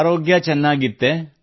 ಆರೋಗ್ಯ ಚೆನ್ನಾಗಿತ್ತೇ